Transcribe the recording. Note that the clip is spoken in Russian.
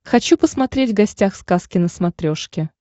хочу посмотреть гостях сказки на смотрешке